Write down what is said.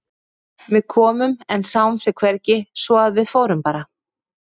Við komum en sáum þig hvergi svo að við fórum bara.